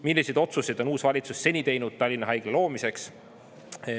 Milliseid otsuseid on uus valitsus seni teinud Tallinna haigla loomiseks?